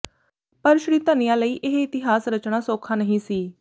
ਪਰ ਸ਼੍ਰੀਧਨਿਆ ਲਈ ਇਹ ਇਤਿਹਾਸ ਰਚਣਾ ਸੌਖਾ ਨਹੀਂ ਸੀ